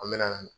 An me na